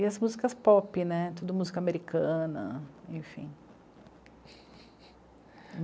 E as músicas pop né, tudo música americana, enfim.